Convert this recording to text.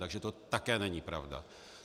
Takže to také není pravda.